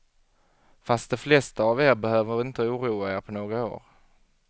Fast de flesta av er behöver inte oroa er på några år.